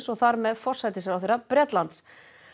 og þar með forsætisráðherra Bretlands